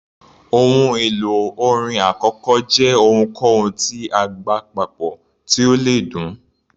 Ohun èlò orin àkọ́kọ́ jẹ́ ohunkóhun tí a gbá papọ̀ tí ó le dún.